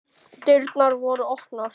Dyrnar voru opnar.